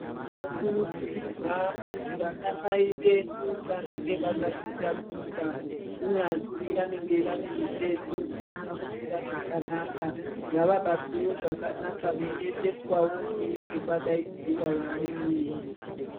Tinokurudzirwa kuti vanamai vedu vanenge vakazvitakura kunyazi vanenge vaine mitezo dzisina kumira zvakanaka ngavabatwewo zvakanaka veyiyendeswawo kunenge kwadaidziwa vamweni.